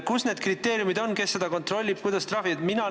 Kus on need kriteeriumid, kes seda kontrollib ja kuidas trahvitakse?